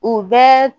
U bɛɛ